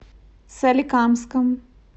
соликамском